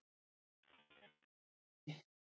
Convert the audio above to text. Hann bjó á Mói.